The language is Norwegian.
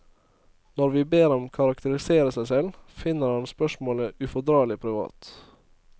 Når vi ber ham karakterisere seg selv, finner han spørsmålet ufordragelig privat.